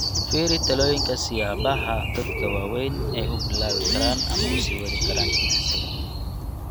Fiiri talooyinka siyaabaha dadka waaweyn ay u bilaabi karaan ama u sii wadi karaan jimicsiga.